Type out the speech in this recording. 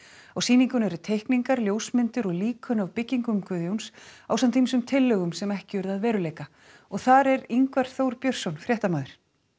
á sýningunni eru teikningar ljósmyndir og líkön af byggingum Guðjóns ásamt ýmsum tillögum sem ekki urðu að veruleika og þar er Ingvar Þór Björnsson fréttamaður